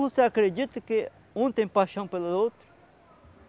Você acredita que um tem paixão pelo outro?